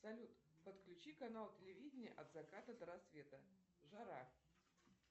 салют подключи канал телевидения от заката до рассвета жара